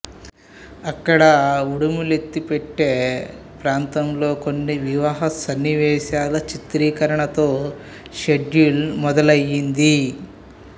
అక్కడ ఉడుమలైపెట్టై ప్రాంతంలో కొన్ని వివాహ సన్నివేశాల చిత్రీకరణతో షెడ్యూల్ మొదలయ్యింది